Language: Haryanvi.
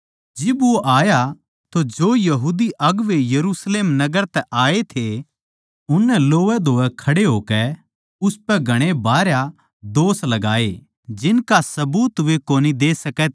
जिब वो आया तो जो यहूदी अगुवें यरुशलेम नगर तै आये थे उननै लोवैधोवै खड़े होकै उसपै घणे भारया दोष लगाये जिनका सबूत वे कोनी दे सकै थे